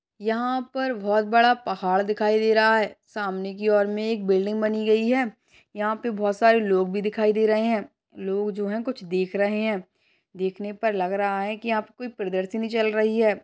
यहाँ पर बहोत बड़ा पहाड़ दिखाई दे रहा है सामने की ओर में एक बिल्डिंग बनी गई है। यहाँ पे बहोत सारे लोग भी दिखाई दे रहे है लोग जो है कुछ देख रहे है देखने पर लग रहा है कि यहाँ पे कोई प्रदर्शनी चल रही है।